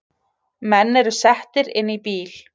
Menn eru settir inn í bíl